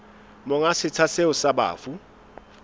monga setsha seo sa bafu